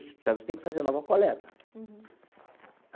Você sabe que você tem que fazer nova coleta.